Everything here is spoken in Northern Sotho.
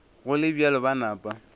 go le bjalo ba napa